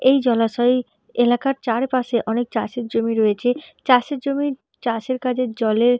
এই জলাশয় এলাকার চারপশে অনেক চাষের জমি রয়েছে। চাষের জমি চাষের কাজে জলের--